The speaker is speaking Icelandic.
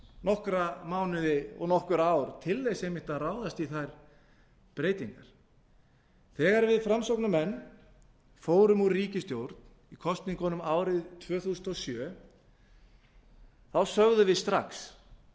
nokkra mánuði og nokkur ár til þess einmitt að ráðast í þær breytingar þegar við framsóknarmenn fórum úr ríkisstjórn í kosningunum árið tvö þúsund og sjö þá sögðum við strax við